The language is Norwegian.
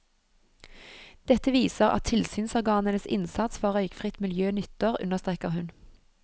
Dette viser at tilsynsorganenes innsats for røykfritt miljø nytter, understreker hun.